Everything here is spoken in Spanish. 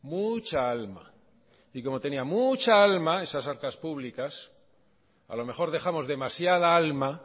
mucha alma y como tenía mucha alma esas arcas públicas a lo mejor dejamos demasiada alma